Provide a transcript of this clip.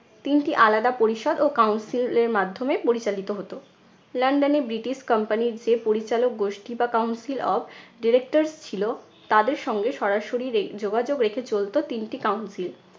তিনটি আলাদা পরিষদ ও council এ~ এর মাধ্যমে পরিচালিত হতো। লন্ডনে ব্রিটিশ company র যে পরিচালক গোষ্ঠী বা council of directors ছিলো, তাদের সঙ্গে সরাসরি রে~ যোগাযোগ রেখে চলতো তিনটি council